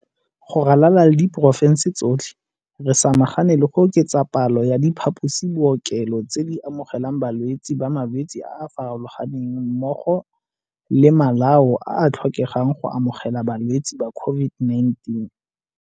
Go ralala le diporofense tsotlhe, re samagane le go oketsa palo ya diphaposibookelo tse di amogelang balwetse ba malwetse a a farologaneng mmogo le malao a a tlhokegang go amogela balwetse ba COVID-19.